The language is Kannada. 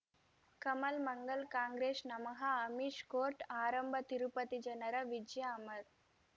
ಕಮಲ್ ಮಂಗಳ್ ಕಾಂಗ್ರೆಸ್ ನಮಃ ಅಮಿಷ್ ಕೋರ್ಟ್ ಆರಂಭ ತಿರುಪತಿ ಜನರ ವಿಜಯ ಅಮರ್